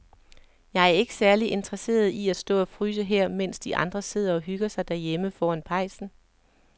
Jeg er ikke særlig interesseret i at stå og fryse her, mens de andre sidder og hygger sig derhjemme foran pejsen.